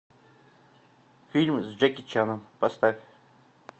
фильм с джеки чаном поставь